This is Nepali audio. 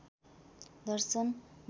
दर्शन विद्वान्